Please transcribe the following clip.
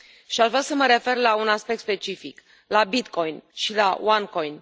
Aș vrea să mă refer la un aspect specific la Bitcoin și la OneCoin.